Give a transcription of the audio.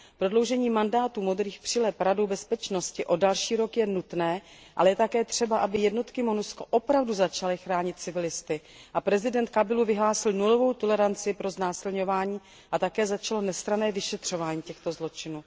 Prodloužení mandátu modrých přileb Radou bezpečnosti o další rok je nutné, ale je také třeba, aby jednotky Monusco opravdu začaly chránit civilisty, aby prezident Kabila vyhlásil nulovou toleranci pro znásilňování a také aby začalo nestranné vyšetřování těchto zločinů.